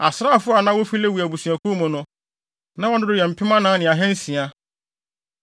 Asraafo a na wofi Lewi abusuakuw mu no, na wɔn dodow yɛ mpem anan ne ahansia.